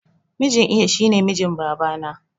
Mijin iya shine mijin babana